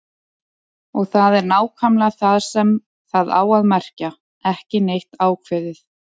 Og það er nákvæmlega það sem það á að merkja: ekki neitt ákveðið.